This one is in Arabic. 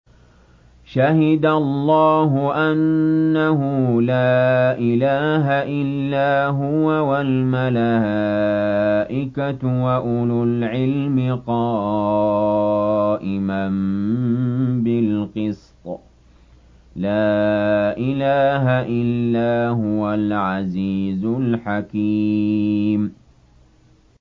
شَهِدَ اللَّهُ أَنَّهُ لَا إِلَٰهَ إِلَّا هُوَ وَالْمَلَائِكَةُ وَأُولُو الْعِلْمِ قَائِمًا بِالْقِسْطِ ۚ لَا إِلَٰهَ إِلَّا هُوَ الْعَزِيزُ الْحَكِيمُ